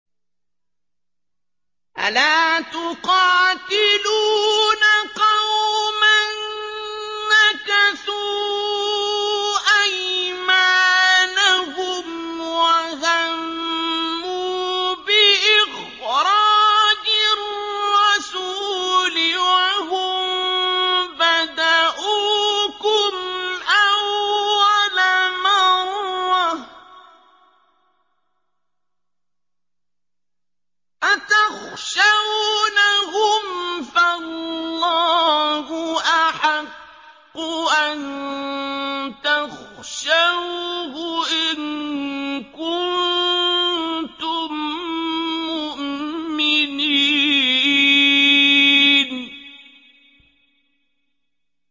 أَلَا تُقَاتِلُونَ قَوْمًا نَّكَثُوا أَيْمَانَهُمْ وَهَمُّوا بِإِخْرَاجِ الرَّسُولِ وَهُم بَدَءُوكُمْ أَوَّلَ مَرَّةٍ ۚ أَتَخْشَوْنَهُمْ ۚ فَاللَّهُ أَحَقُّ أَن تَخْشَوْهُ إِن كُنتُم مُّؤْمِنِينَ